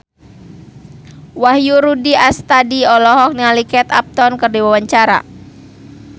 Wahyu Rudi Astadi olohok ningali Kate Upton keur diwawancara